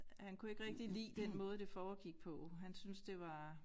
Han kunne ikke rigtig lide den måde det foregik på han syntes det var